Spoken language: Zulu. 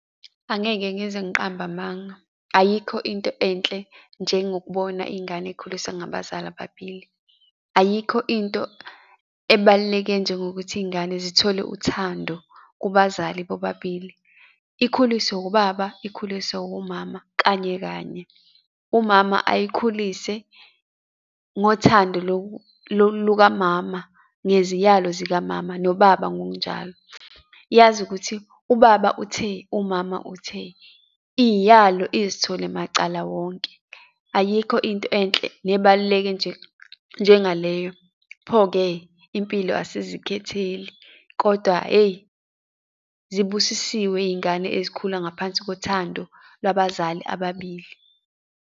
Angeke ngize ngiqambe amanga, ayikho into enhle njengokubona iy'ngane ey'khuliswe ngabazali ababili. Ayikho into ebaluleke njengokuthi iy'ngane zithole uthando kubazali bobabili. Ikhuliswe ubaba, ikhuliswe wumama kanye kanye. Umama ayikhulise ngothando lukamama neziyalo zikamama nobaba ngokunjalo, yazi ukuthi ubaba uthe, umama uthe, Iy'yalo izithole macala wonke. Ayikho into enhle nebaluleke njengaleyo. Pho-ke impilo asizikhetheli, kodwa hheyi, zibusisiwe iy'ngane ezikhula ngaphansi kothando labazali ababili.